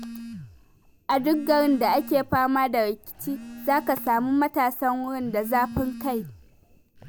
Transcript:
A duk garin da ake fama da rikici, za ka sami matasan wurin da zafin kai.